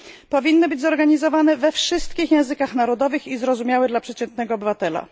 Powinny być one organizowane we wszystkich językach narodowych i zrozumiałe dla przeciętnego obywatela.